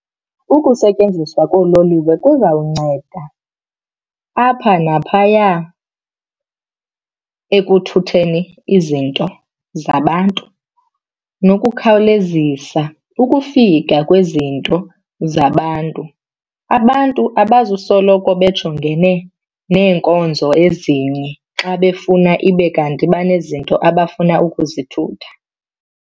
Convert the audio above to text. Ukusetyenziswa koololiwe kuzawunceda apha naphaya ekuthutheni izinto zabantu nokukhawulezisa ukufika kwezinto zabantu. Abantu abazusoloko bejongene neenkonzo ezinye xa befuna ibe kanti banezinto abafuna ukuzithutha.